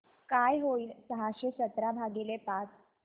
काय होईल सहाशे सतरा भागीले पाच